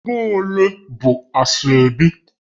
Ego ole bụ Asoebi?